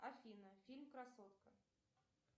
афина фильм красотка